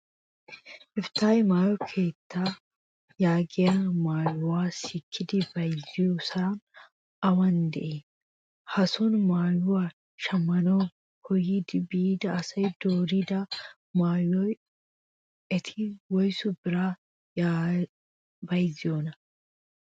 Efttah maayyo keettaa yaagiyaa maayyuwaa sikkidi bayizziyosay awan dii? Hason maayyuwa shammanawu koyyidi biida asawu doorido maayyuwaa eti woyisu biran bayizzanee?